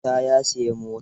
Isa ya siyi mota.